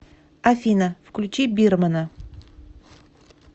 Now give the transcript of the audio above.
афина включи бирмэна